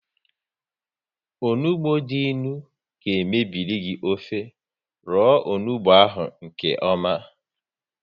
Onugbu dị ịnụ ga mebiri gị ofe, roo onugbu ahụ nkeọma